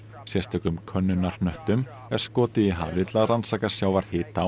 sérstökum er skotið í hafið til að rannsaka sjávarhita